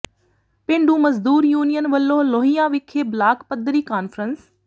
ਪੇਂਡੂ ਮਜ਼ਦੂਰ ਯੂਨੀਅਨ ਵਲੋਂ ਲੋਹੀਆਂ ਵਿਖੇ ਬਲਾਕ ਪੱਧਰੀ ਕਾਨਫ਼ਰੰਸ